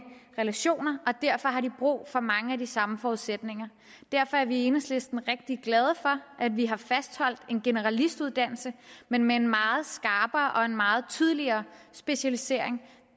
relationer og derfor har de brug for mange af de samme forudsætninger derfor er vi i enhedslisten rigtig glade for at vi har fastholdt en generalistuddannelse men med en meget skarpere og en meget tydeligere specialisering